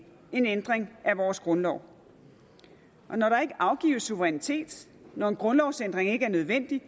en ændring af vores grundlov når der ikke afgives suverænitet når en grundlovsændring ikke er nødvendig